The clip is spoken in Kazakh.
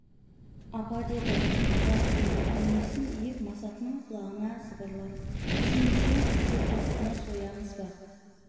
апа деді асан түрегеп денесін иіп масатының құлағына сыбырлап сеңсең қызыл тоқтыны соямыз ба